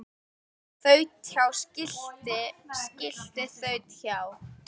Þaut hjá skilti skilti þaut hjá